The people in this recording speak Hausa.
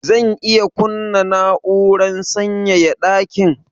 Zan iya kunna na'urar sanyaya dakin?